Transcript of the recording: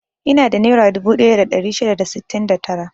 Ina da nera dubu ɗaya da ɗari shida da sittin da tara.